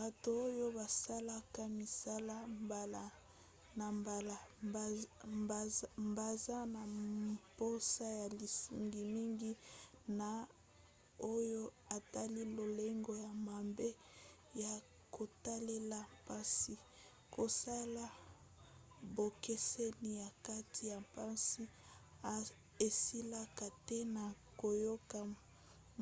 bato oyo basalaka misala mbala na mbala baza na mposa ya lisungi mingi na oyo etali lolenge ya mabe ya kotalela mpasi kosala bokeseni na kati ya mpasi esilaka te na koyoka